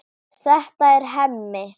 Þetta er Hemmi.